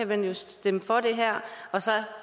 kan jo stemme for det her og så